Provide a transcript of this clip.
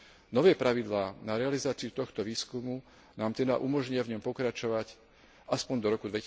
Nové pravidlá na realizáciu tohto výskumu nám teda umožnia v ňom pokračovať aspoň do roku